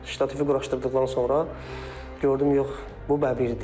Ştatifi quraşdırdıqdan sonra gördüm yox, bu bəbirdir.